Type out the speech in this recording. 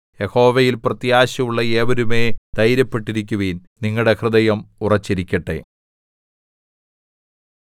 യഹോവയിൽ പ്രത്യാശയുള്ള ഏവരുമേ ധൈര്യപ്പെട്ടിരിക്കുവിൻ നിങ്ങളുടെ ഹൃദയം ഉറച്ചിരിക്കട്ടെ